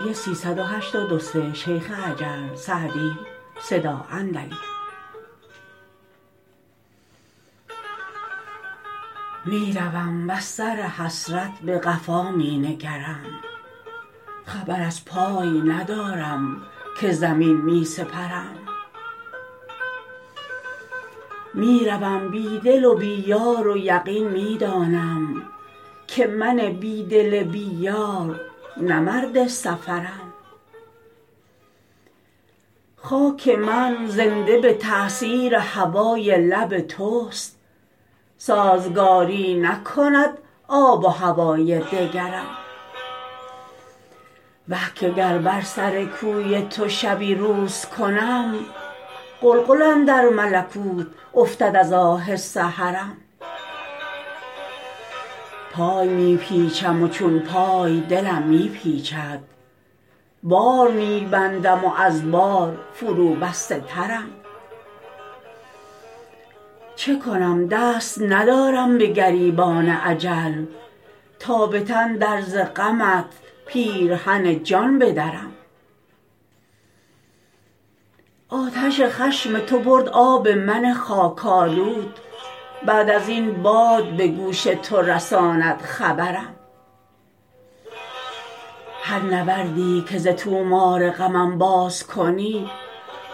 می روم وز سر حسرت به قفا می نگرم خبر از پای ندارم که زمین می سپرم می روم بی دل و بی یار و یقین می دانم که من بی دل بی یار نه مرد سفرم خاک من زنده به تأثیر هوای لب توست سازگاری نکند آب و هوای دگرم وه که گر بر سر کوی تو شبی روز کنم غلغل اندر ملکوت افتد از آه سحرم پای می پیچم و چون پای دلم می پیچد بار می بندم و از بار فروبسته ترم چه کنم دست ندارم به گریبان اجل تا به تن در ز غمت پیرهن جان بدرم آتش خشم تو برد آب من خاک آلود بعد از این باد به گوش تو رساند خبرم هر نوردی که ز طومار غمم باز کنی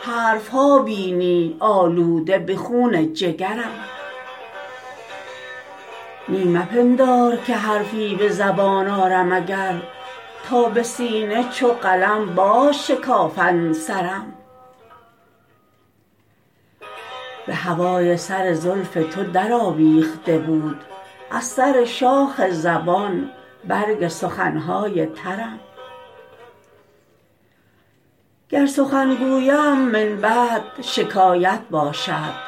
حرف ها بینی آلوده به خون جگرم نی مپندار که حرفی به زبان آرم اگر تا به سینه چو قلم بازشکافند سرم به هوای سر زلف تو درآویخته بود از سر شاخ زبان برگ سخن های ترم گر سخن گویم من بعد شکایت باشد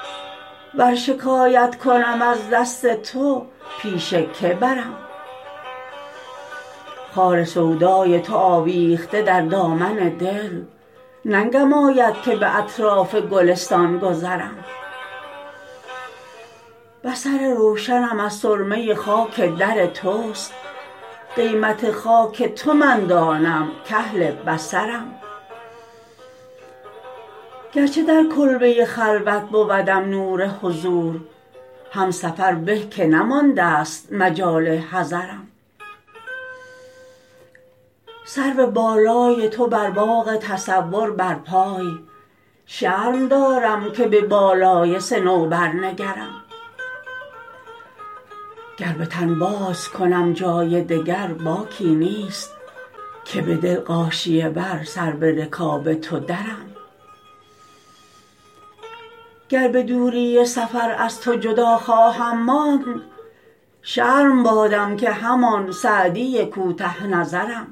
ور شکایت کنم از دست تو پیش که برم خار سودای تو آویخته در دامن دل ننگم آید که به اطراف گلستان گذرم بصر روشنم از سرمه خاک در توست قیمت خاک تو من دانم کاهل بصرم گرچه در کلبه خلوت بودم نور حضور هم سفر به که نماندست مجال حضرم سرو بالای تو در باغ تصور برپای شرم دارم که به بالای صنوبر نگرم گر به تن بازکنم جای دگر باکی نیست که به دل غاشیه بر سر به رکاب تو درم گر به دوری سفر از تو جدا خواهم ماند شرم بادم که همان سعدی کوته نظرم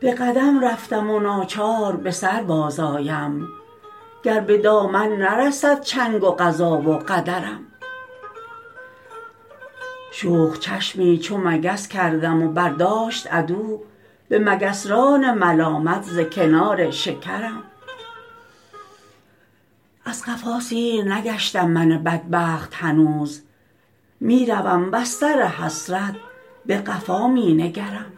به قدم رفتم و ناچار به سر بازآیم گر به دامن نرسد چنگ قضا و قدرم شوخ چشمی چو مگس کردم و برداشت عدو به مگسران ملامت ز کنار شکرم از قفا سیر نگشتم من بدبخت هنوز می روم وز سر حسرت به قفا می نگرم